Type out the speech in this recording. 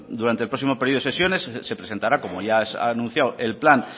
durante el próximo periodo de sesiones se presentará como ya anunciado el plan